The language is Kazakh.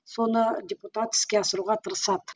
соны депутат іске асыруға тырысады